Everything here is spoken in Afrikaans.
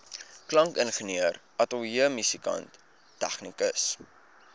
klankingenieur ateljeemusikant tegnikus